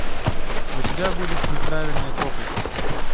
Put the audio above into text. у тебя будет неправильные копы